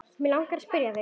Mig langar að spyrja þig.